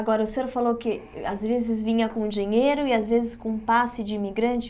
Agora, o senhor falou que às vezes vinha com dinheiro e às vezes com passe de imigrante.